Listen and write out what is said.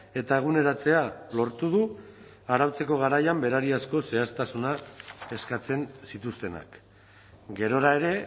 eta eguneratzea lortu du arautzeko garaian berariazko zehaztasuna eskatzen zituztenak gerora ere